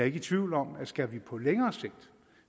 ikke i tvivl om at skal vi på længere sigt